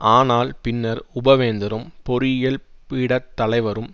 ஆனால் பின்னர் உப வேந்தரும் பொறியியல் பீடத் தலைவரும்